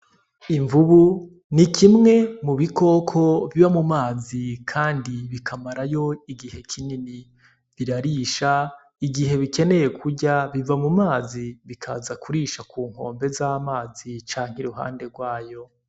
Imvubu ni kimwe mu bikoko biba mu mazi, kandi bikamarayo igihe kinini birarisha igihe bikeneye kurya biva mu mazi bikazakurisha ku nkombe z'amazi canke i ruhande rwayo.